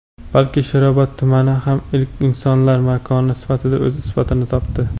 balki Sherobod tumani ham ilk insonlar makoni sifatida o‘z isbotini topdi.